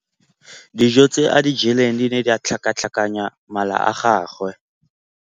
Dijô tse a di jeleng di ne di tlhakatlhakanya mala a gagwe.